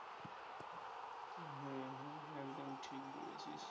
হ্যাঁ হ্যাঁ একদম ঠিক বলেছিস